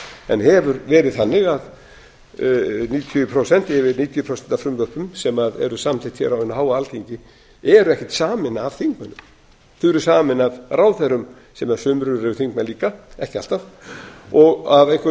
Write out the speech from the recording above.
en hefur verið þannig að yfir níutíu prósent af frumvörpum sem eru samþykkt hér á hinu háa alþingi eru ekkert samin af þingmönnum þau eru samin af ráðherra sem sumir eru þingmenn líka ekki alltaf og af